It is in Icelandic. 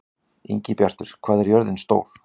Ingibjartur, hvað er jörðin stór?